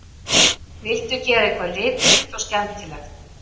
Vildu gera eitthvað litríkt og skemmtilegt